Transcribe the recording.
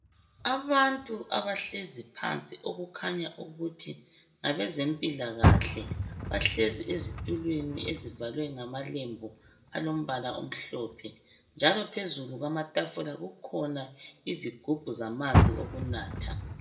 Abantu abahlezi phansi okukhanya ukuthi ngabezempilakahle. Bahlezi ezitulweni ezivalwe ngamalembu alombala omhlophe njalo phezulu kwamatafula kukhona izigubhu zamanzi okunatha.